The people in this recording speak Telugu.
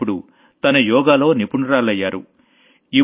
పైగా ఇప్పుడు తను యోగాలో ఎక్స్ పర్ట్ అయిపోయింది